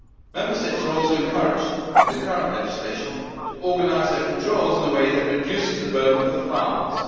Member States are also encouraged, in the current legislation, to organise their controls in a way that reduces the burden for farmers.